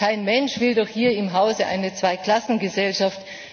Kein Mensch will doch hier im Hause eine Zwei Klassen Gesellschaft!